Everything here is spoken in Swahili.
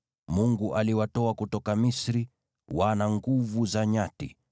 Mungu aliwatoa kutoka Misri; wao wana nguvu za nyati.